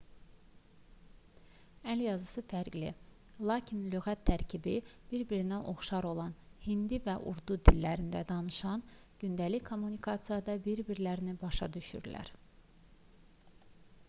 əl yazısı fərqli lakin lüğət tərkibi bir-birinə oxşar olan hindi və urdu dillərində danışanlar gündəlik kommunikasiyada bir-birlərini başa düşürlər